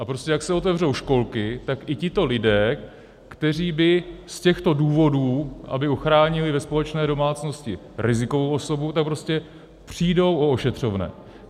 A prostě jak se otevřou školky, tak i tito lidé, kteří by z těchto důvodů, aby ochránili ve společné domácnosti rizikovou osobu, tak prostě přijdou o ošetřovné.